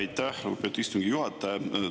Aitäh, lugupeetud istungi juhataja!